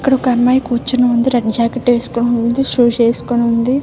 ఇక్కడ ఒక అమ్మాయి కూర్చుని ఉంది రెడ్ జాకెట్ ఏస్కోని ఉంది షూస్ ఏస్కోని ఉంది.